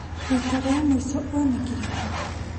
Rita rĩa mũico onekire kũ?